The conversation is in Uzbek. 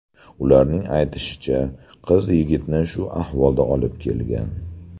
Ularning aytishicha, qiz yigitni shu ahvolga olib kelgan.